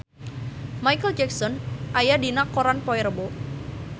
Micheal Jackson aya dina koran poe Rebo